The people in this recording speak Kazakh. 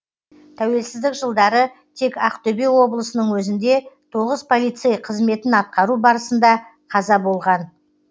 тәуелсіздік жылдары тек ақтөбе облысының өзінде тоғыз полицей қызметін атқару барысында қаза болған